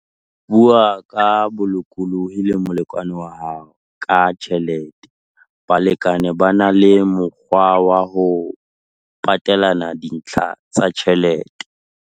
Bua ka bolokolohi le molekane wa hao ka tjhelete - Balekane ba na le mokgwa wa ho patelana dintlha tsa ditjhelete.